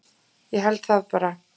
Ég held það bara.